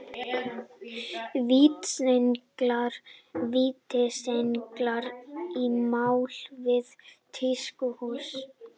Vítisenglar í mál við tískuhús